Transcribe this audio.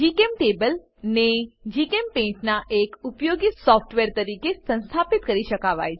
જીચેમ્ટેબલ ને જીચેમ્પેઇન્ટ નાં એક ઉપયોગીય સોફ્ટવેર તરીકે સંસ્થાપિત કરી શકાવાય છે